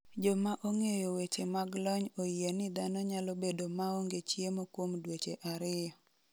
Joma ong’eyo weche mag lony oyie ni dhano nyalo bedo maonge chiemo kuom dweche ariyo.